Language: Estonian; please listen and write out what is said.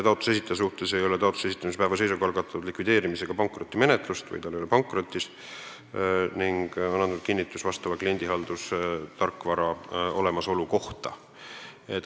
Taotluse esitaja suhtes ei tohi taotluse esitamise päeva seisuga olla algatatud likvideerimis- ega pankrotimenetlust, st ta ei tohi olla pankrotis, ning ta peab andma kinnituse vastava kliendihaldustarkvara olemasolu kohta.